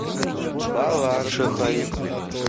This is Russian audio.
балашихой